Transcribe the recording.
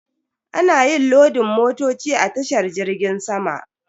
Ana yin lodin motoci a tashar jirgin sama.